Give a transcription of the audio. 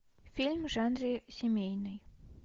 фильм в жанре семейный